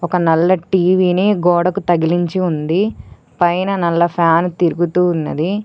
ఒక నల్లటి టీవీని గోడకు తగిలించి ఉంది పైన నల్ల ఫ్యాన్ తిరుగుతూ ఉన్నది.